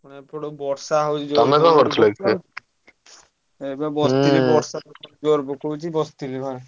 ଏପଟେ ବର୍ଷା ହଉଛି ଜୋର ଏବେ ବସିଥିଲି ବର୍ଷା ଜୋରେ ପକଉଛି ବସିଥିଲି ଘରେ।